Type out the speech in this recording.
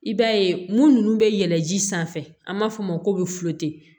I b'a ye munu bɛ yɛlɛn ji sanfɛ an b'a f'o ma ko